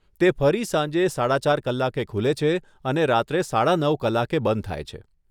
તે ફરી સાંજે સાડા ચાર કલાકે ખુલે છે અને રાત્રે સાડા નવ કલાકે બંધ થાય છે.